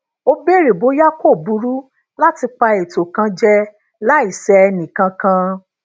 ó beere bóyá kò burú lati pa eto kan je láì sẹ ẹnìkankan